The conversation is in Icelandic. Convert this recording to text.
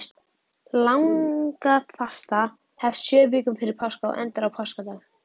Langafasta hefst sjö vikum fyrir páska og endar á páskadag.